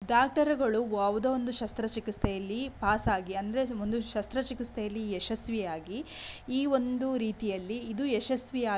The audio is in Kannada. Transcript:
ಡಾಕ್ಟರ್ ಗಳು ಯಾವುದೋ ಶಸ್ತ್ರ ಚಿಕಿತ್ಸೆಯಲ್ಲಿ ಪಾಸಾಗಿ ಅಂದ್ರೆ ಒಂದು ಶಸ್ತ್ರ ಚಿಕಿತ್ಸೆಯಲ್ಲಿ ಯಶಸ್ವಿಯಾಗಿ ಈ ಒಂದು ರೀತಿಯಲ್ಲಿ ಇದು ಯಶಸ್ವಿಯಾ --